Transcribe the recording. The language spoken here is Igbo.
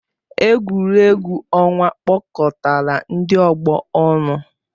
Egwuregwu ọnwa kpọkọtara ndị ọgbọ ọnụ.